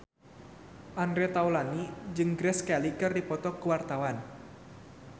Andre Taulany jeung Grace Kelly keur dipoto ku wartawan